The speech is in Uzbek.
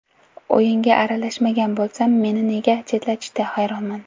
O‘yinga aralashmagan bo‘lsam, meni nega chetlatishdi, hayronman.